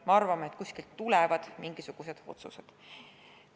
Me arvame, et kuskilt tulevad mingisugused otsused.